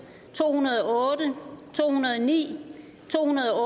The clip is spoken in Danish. to hundrede og otte to hundrede og ni to hundrede